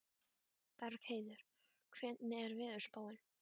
Bergheiður, hvernig er veðurspáin?